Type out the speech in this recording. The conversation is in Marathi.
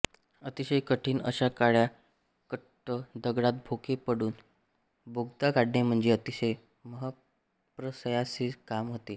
अतिशय कठीण अशा काळ्या कुट्ट दगडात भोके पाडून बोगदा काढणे म्हणजे अतिशय महत्प्रयासाचे काम होते